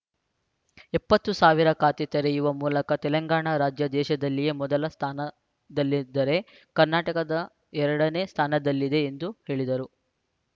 ಎಪ್ಪತ್ತು ಸಾವಿರ ಖಾತೆ ತೆರೆಯುವ ಮೂಲಕ ತೆಲಂಗಾಣ ರಾಜ್ಯ ದೇಶದಲ್ಲಿಯೇ ಮೊದಲ ಸ್ಥಾನದಲ್ಲಿದ್ದರೆ ಕರ್ನಾಟಕದ ಎರಡನೇ ಸ್ಥಾನದಲ್ಲಿದೆ ಎಂದು ಹೇಳಿದರು